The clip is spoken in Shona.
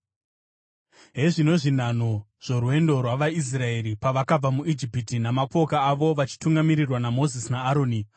Hezvino zvinhanho zvorwendo rwavaIsraeri pavakabuda muIjipiti namapoka avo vachitungamirirwa naMozisi naAroni.